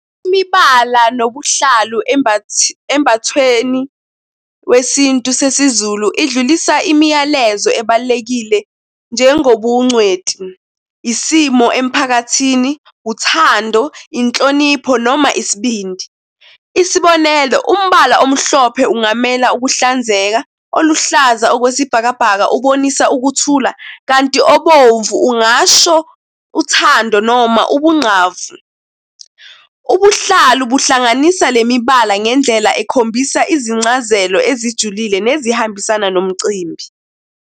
Imibala nobuhlalu embathweni wesintu sesiZulu idlulise imiyalezo ebalulekile njengobuncweti, isimo emiphakathini, uthando inhlonipho noma isibindi. Isibonelo, umbala omhlophe ungamela ukuhlanzeka, oluhlaza okwesibhakabhaka, ubonisa ukuthula kanti obomvu ungasho uthando noma ubunqavi. Ubuhlalu buhlanganisa le mibala ngendlela ekhombisa izincazelo ezijulile nezihambisana nomcimbi.